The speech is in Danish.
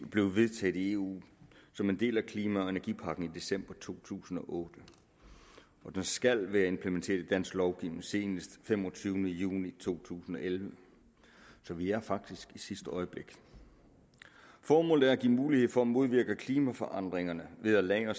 blev vedtaget i eu som en del af klima og energipakken i december to tusind og otte og det skal være implementeret i dansk lovgivning senest femogtyvende juni to tusind og elleve så vi er faktisk i sidste øjeblik formålet er at give mulighed for at modvirke klimaforandringerne ved at lagre